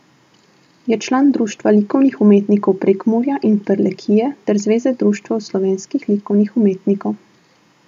Je član Društva likovnih umetnikov Prekmurja in Prlekije ter Zveze društev slovenskih likovnih umetnikov.